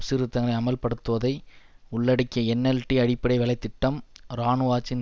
சீர்திருத்தங்களை அமல்படுத்துவதை உள்ளடக்கிய என்எல்டி அடிப்படை வேலை திட்டம் இராணுவ ஆட்சியின்